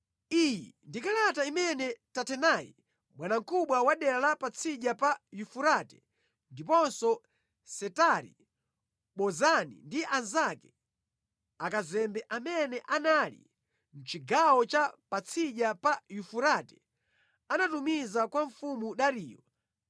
Iyi ndi kalata imene Tatenai bwanamkubwa wa dera la patsidya pa Yufurate, ndiponso Setari-Bozenai ndi anzake, akazembe amene anali mʼchigawo cha patsidya pa Yufurate, anatumiza kwa mfumu Dariyo